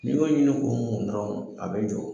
Ni min y'i kun do dɔrɔnw a bɛ jɔ.